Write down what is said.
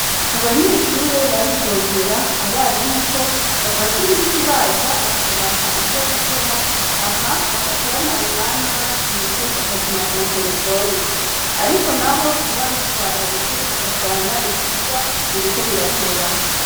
Abanyeshure baridogera abarimouko bamaze imisi baza bakabaha ivyo gukora hama bakaca bamara umwanya basohotse bakaguma ku materefone, ariko na bo ntibabitwararike ugasanga ivyigwa biriko birateba.